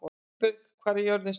Gunnberg, hvað er jörðin stór?